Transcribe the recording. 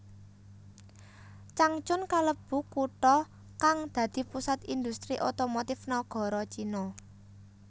Changchun kalebu kutha kang dadi pusat industri otomotif nagara Cina